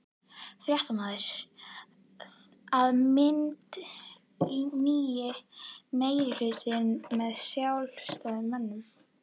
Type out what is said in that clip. Fréttamaður:. að mynda nýjan meirihluta með Sjálfstæðismönnum?